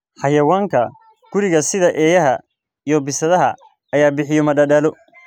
Xayawaanka guriga sida eeyaha iyo bisadaha ayaa bixiya madadaalo.